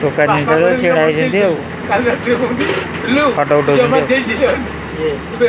ଦୋକାନି ପାଖରେ ଛିଡ଼ା ହେଇଛନ୍ତି ଆଉ ଫଟୋ ଉଠଉଛନ୍ତି।